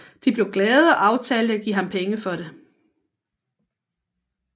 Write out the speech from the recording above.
De blev glade og aftalte at give ham penge for det